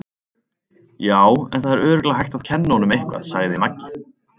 Já, en það er örugglega hægt að kenna honum eitthvað, sagði Maggi.